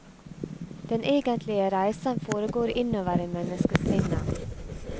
Den egentlige reisen foregår innover i menneskesinnet.